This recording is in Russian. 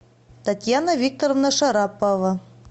татьяна викторовна шарапова